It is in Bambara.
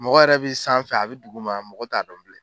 Mɔgɔ yɛrɛ bɛ san fɛ a bɛ duguma mɔgɔ t'a dɔn bilen.